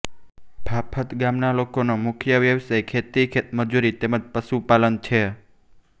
ફાફત ગામના લોકોનો મુખ્ય વ્યવસાય ખેતી ખેતમજૂરી તેમ જ પશુપાલન છે